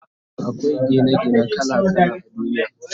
Akwai Gina gine kala kala a duniya